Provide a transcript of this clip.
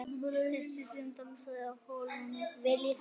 Þessi sem dansaði á hólnum.